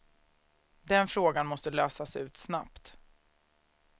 Den frågan måste lösas ut snabbt.